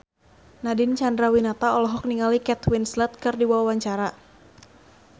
Nadine Chandrawinata olohok ningali Kate Winslet keur diwawancara